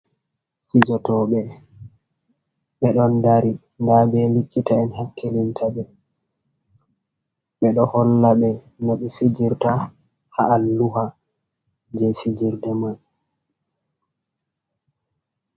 Fijotoɓe ɓe ɗon dari, ndabbe likita en hakkilinta ɓe, ɓe ɗo holla ɓe no ɓe fijirta ha alluha je fijirde man.